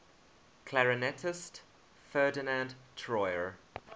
clarinetist ferdinand troyer